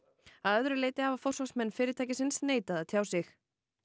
að öðru leyti hafa forsvarsmenn fyrirtækisins neitað að tjá sig